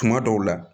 Tuma dɔw la